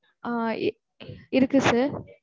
ஆஹ் இருக்கு sir